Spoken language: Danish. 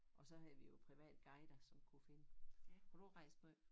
Og så havde vi jo private guider som kunne finde. Har du rejst måj?